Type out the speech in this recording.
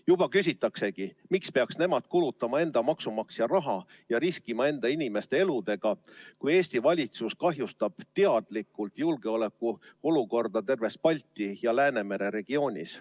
Juba küsitaksegi, et miks peaks nemad kulutama enda maksumaksja raha ja riskima enda inimeste eludega, kui Eesti valitsus kahjustab teadlikult julgeolekuolukorda terves Balti ja Läänemere regioonis.